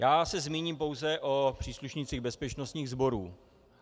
Já se zmíním pouze o příslušnících bezpečnostních sborů.